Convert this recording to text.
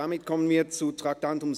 Wir kommen zum Traktandum 37.